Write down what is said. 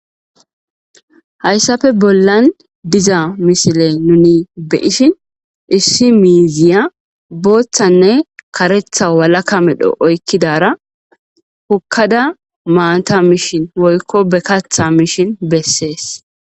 Hayssafe bollan diza mishile nuni beishin issi miiziya booththanne karetha walaka medho oykkidara hukkada maanta mishin woykko be katha mishin bessees.